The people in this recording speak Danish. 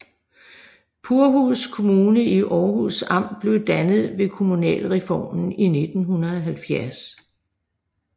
Purhus Kommune i Århus Amt blev dannet ved kommunalreformen i 1970